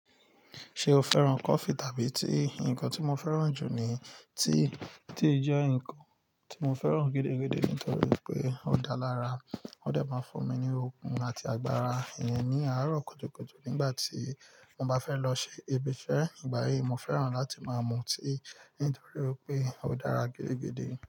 Ṣe o fẹ́ràn kọfí tàbí tíì? Ǹkan tí mo fẹ́ràn jù ni tíì, tíì jẹ́ ǹkan tí mo fẹ́ràn gidigidi nítorí pé ó dá lára, ó dẹ̀ máa ń fún mi ní okun àti agbára ìyẹn ní àárọ̀ kùtùkùtù nígbà tí mo bá fẹ́ lọ ṣe ibi iṣẹ́. Igba yii, mo fẹ́ràn láti máa mu tíì nítorí pé ó dára gidigidi.